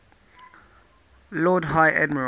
lord high admiral